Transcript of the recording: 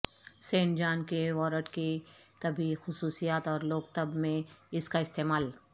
Saint John کے wort کی طبی خصوصیات اور لوک طب میں اس کا استعمال